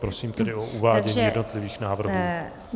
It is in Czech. Prosím tedy o uvádění jednotlivých návrhů.